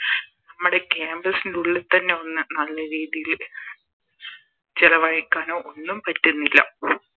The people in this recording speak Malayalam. നമ്മടെ Campus ൻറെ ഉള്ളിൽ തന്നെ ഒന്ന് നല്ല രീതില് ചെലവഴിക്കാനോ ഒന്നും പറ്റുന്നില്ല